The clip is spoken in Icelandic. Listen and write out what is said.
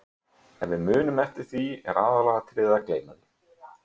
Ef við munum eftir því er aðalatriðið að gleyma því.